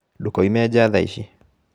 Ndũkoime njaa thaa ici.